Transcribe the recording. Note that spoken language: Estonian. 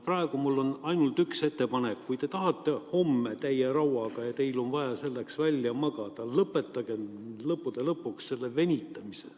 Praegu mul on ainult üks ettepanek: kui te tahate homme täie rauaga töötada ja teil on vaja selleks välja magada, siis lõpetagem lõppude lõpuks see venitamine.